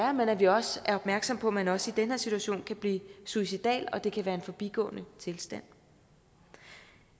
er men at vi også er opmærksomme på at man også i den her situation kan blive suicidal og at det kan være en forbigående tilstand